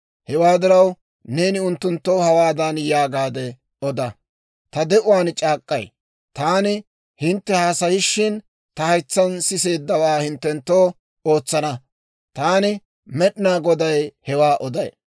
Hewaa diraw, neeni unttunttoo hawaadan yaagaade oda; ‹Ta de'uwaan c'aak'k'ay; taani hintte haasayishin ta haytsaan siseeddawaa hinttenttoo ootsana. Taani Med'inaa Goday hewaa oday.